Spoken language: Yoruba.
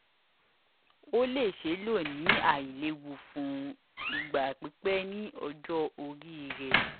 o le ṣee lo ni ailewu fun igba pipẹ ni ọjọ ori rẹ